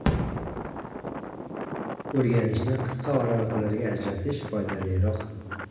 O‘rganishni qisqa oraliqlarga ajratish foydaliroq.